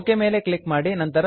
okay ಮೇಲೆ click ಮಾಡಿ